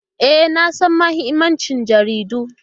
E, na san mahimmancin jaridu.